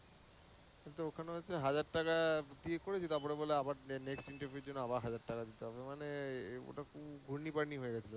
তো ওখানে হচ্ছে হাজার টাকা দিয়ে করেছি তারপরে বলে আবার নে~ next interview এর জন্য আবার হাজার টাকা দিতে হবে। মানে ওটা খুব পার্টি হয়ে